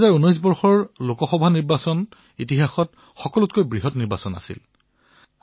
২০১৯ চনৰ লোকসভাৰ নিৰ্বাচন এই পৰ্যন্ত ইতিহাসত বিশ্বৰ সকলোতকৈ বৃহৎ গণতান্ত্ৰিক নিৰ্বাচন আছিল